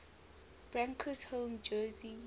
broncos home jersey